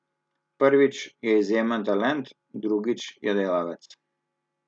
Prvič, je izjemen talent, drugič, je delavec.